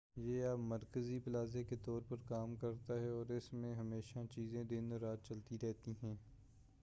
یہ اب مرکزی پلازہ کے طور پر کام کرتا ہے اور اس میں ہمیشہ چیزیں دن اور رات چلتی رہتی ہیں